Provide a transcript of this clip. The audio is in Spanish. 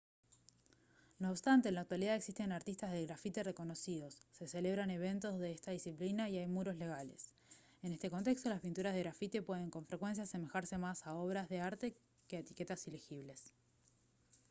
no obstante en la actualidad existen artistas del grafiti reconocidos se celebran eventos de esta disciplina y hay muros «legales». en este contexto las pinturas de grafiti pueden con frecuencia asemejarse más a obras de arte que a etiquetas ilegibles